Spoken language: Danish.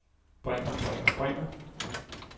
bringer bringer bringer